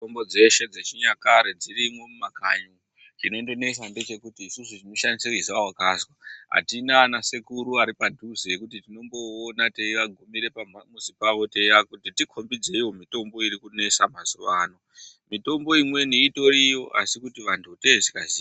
Mitombo dzeshe dzechinyakare dzirimo mumakanyi. Chinondinesa ngechekuti tinoshandisa izwa wakazwa. Atina anasekuru aripadhuze zvekuti tinomboona teiagumire pamuzi pawo teiti tikhombidzeiwo mitombo irikunesa mazuva ano. Mitombo imweni itoriyo, asi kutivantu tenge tisingaziyi.